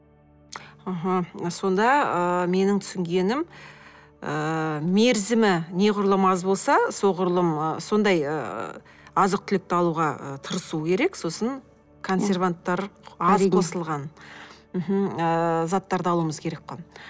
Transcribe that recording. аха сонда ыыы менің түсінгенім ііі мерзімі неғұрлым аз болса соғұрлым ы сондай ы азық түлікті алуға ы тырысу керек сосын консерванттар аз қосылған мхм ыыы заттарды алуымыз керек қой